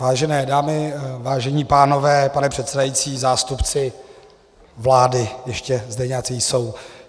Vážené dámy, vážení pánové, pane předsedající, zástupci vlády - ještě zde nějací jsou.